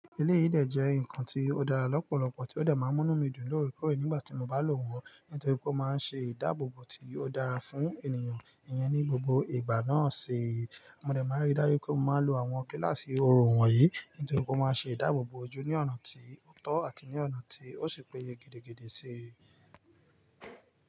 Ele yii dẹ jẹ́ nkan tí ó dára lọ́pọ̀lọpọ̀, tí ó dẹ máa mú nu mí dùn lóorekọ̀ore nígbà tí mo bá lò wọ́n, nítorí pé ó máa ń ṣe ìdáàbòbò tí ó dára fún ènìyàn iyen ní gbogbo ìgbà náà sii. Mo dẹ máa rí dájú pé mo máa lo àwọn gíláàsì òrò wọ̀nyí, nítorí pé ó máa ṣe ìdáàbòbò ojú ní ọ̀nà tí ó tọ́ àti ní ọ̀nà tí ó ṣe péye gidigidi sii.